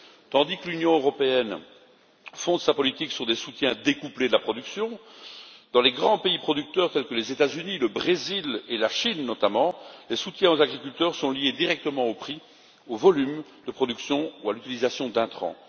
Tandis que l'Union européenne fonde sa politique sur des soutiens découplés de la production, dans les grands pays producteurs tels que les États Unis, le Brésil et la Chine, notamment, les soutiens aux agriculteurs sont liés directement au prix, au volume de production ou à l'utilisation d'intrants.